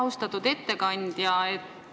Austatud ettekandja!